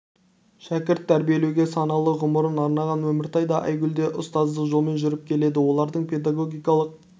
шәкірт тәрбиелеуге саналы ғұмырын арнаған өміртай да айгүл де ұстаздық жолмен жүріп келеді олардың педагогикалық